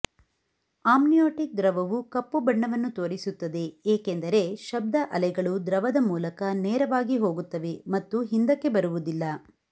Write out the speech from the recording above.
amniotic ದ್ರವವು ಕಪ್ಪು ಬಣ್ಣವನ್ನು ತೋರಿಸುತ್ತದೆ ಏಕೆಂದರೆ ಶಬ್ದ ಅಲೆಗಳು ದ್ರವದ ಮೂಲಕ ನೇರವಾಗಿ ಹೋಗುತ್ತವೆ ಮತ್ತು ಹಿಂದಕ್ಕೆ ಬರುವುದಿಲ್ಲ